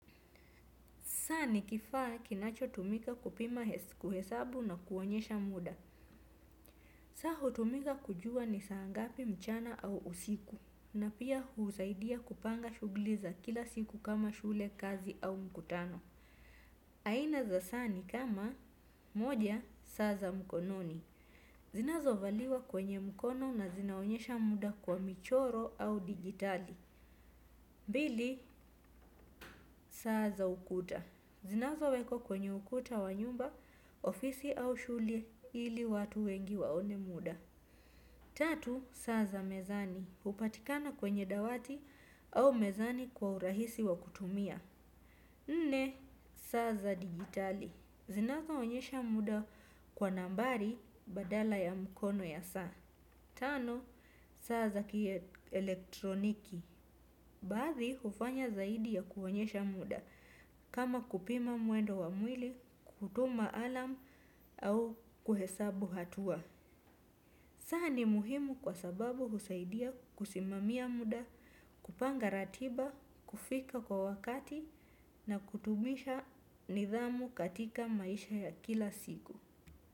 Saa ni kifaa kinacho tumika kupima kuhesabu na kuonyesha muda. Saa hutumika kujua ni saa ngapi mchana au usiku. Na pia husaidia kupanga shughli za kila siku kama shule kazi au mkutano. Aina za saa ni kama moja saa za mkononi. Zinazo valiwa kwenye mkono na zinaonyesha muda kwa michoro au dijitali. Bili saa za ukuta. Zinazo wekwa kwenye ukuta wa nyumba, ofisi au shule ili watu wengi waone muda. Tatu, saa za mezani. Hupatikana kwenye dawati au mezani kwa urahisi wa kutumia. Nne, saa za dijitali. Zinazo onyesha muda kwa nambari badala ya mkono ya saa. Tano, saa za ki elektroniki. Baadhi hufanya zaidi ya kuwaonyesha muda kama kupima mwendo wa mwili, kutuma alamu au kuhesabu hatua. Saa ni muhimu kwa sababu husaidia kusimamia muda, kupanga ratiba, kufika kwa wakati na kutubisha nidhamu katika maisha ya kila siku.